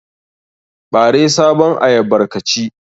Ɓare sabon ayyabar ka ci.